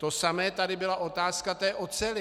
To samé, tady byla otázka té oceli.